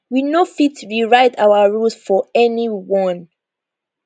we no fit rewrite our rules for anyone